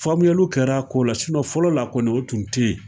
Faamuyaliw kɛr'a ko la fɔlɔ la kɔni o tun te yen.